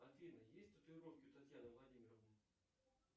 афина есть татуировки у татьяны владимировны